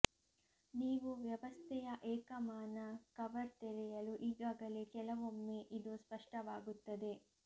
ನೀವು ವ್ಯವಸ್ಥೆಯ ಏಕಮಾನ ಕವರ್ ತೆರೆಯಲು ಈಗಾಗಲೇ ಕೆಲವೊಮ್ಮೆ ಇದು ಸ್ಪಷ್ಟವಾಗುತ್ತದೆ